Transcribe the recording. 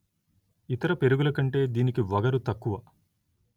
ఇతర పెరుగుల కంటే దీనికి వగరు తక్కువ